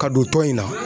Ka don tɔn in na